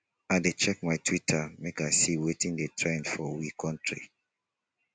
i dey check twitter make i see wetin dey trend for we country.